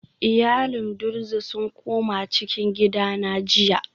Iyalin druze sun koma cikin gida na jiya